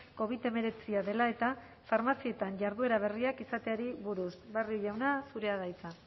covid hemeretzia dela eta farmazietan jarduera berriak izateari buruz barrio jauna zurea da hitza